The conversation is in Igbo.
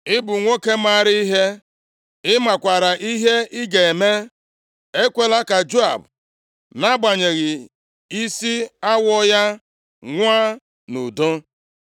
Ị bụ nwoke maara ihe, ị makwaara ihe ị ga-eme. Ekwela ka Joab, nʼagbanyeghị isi awọ ya, nwụọ nʼudo.